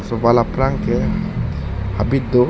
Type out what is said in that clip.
wall aprang k habit do.